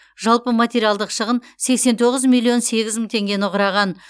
жалпы материалдық шығын сексен тоғыз миллион сегіз мың теңгені құраған